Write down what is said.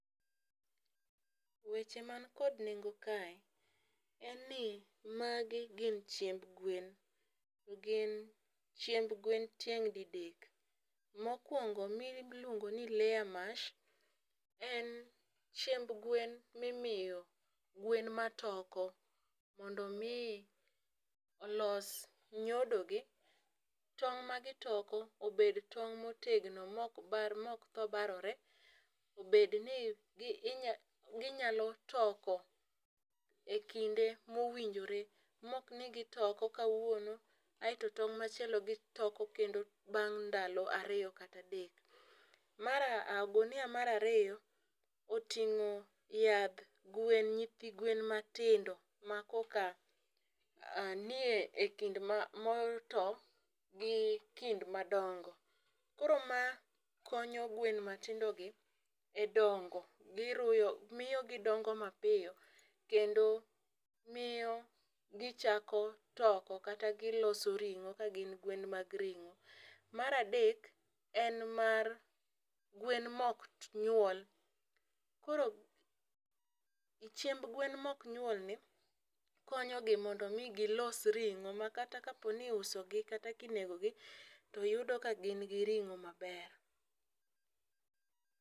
Weche man kod nengo kae en ni magi gin chiemb gwen. Gin chiemb gwen tieng' didek. Mokwongo miluongo ni layer mash en chiemb gwen mimiyo gwen matoko mondo mi olos nyodo gi tong' ma gitoko obed tong motegno mok tho barore. Bed ni ginyalo toko e kinde mowinjore mok ni gitoko kawuone aeto tong' machielo gitoko kendo bang ndalo ariyo kata adek. Mar ogunia mar ariyo oting'o yadh gwen nyithi gwen matindo makoka nie ekind ma mato gi kind madongo. Koro ma konyo gwen matindo gi e dongo giruyo miyo gidongo mapiyo kendo miyo gichako toko kata giloso ring'o ka gin gwen mag ring'o. Mar adek en mar gwen mok nyuol . Koro e chiemb gwen mok nyuol ni konyo gi mondo mi gilos ring'o mondo kata ki uso gi kata kinego gi to yudo ka gin gi ring'o maber.